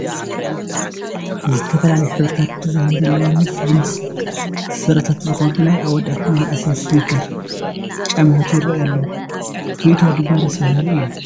ዝተፈላለየ ሕብርን ዲዛይንን ዘለዎም ምስ ጅንስ ስረታት ዝኸዱ ናይ ኣወዳት መናእሰይ ስኒከር ጫማታት ይርአዩ ኣለዉ፡፡ ትርኢቶም ድማ ደስ በሃሊ እዩ፡፡